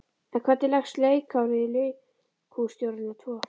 En hvernig leggst leikárið í leikhússtjórana tvo?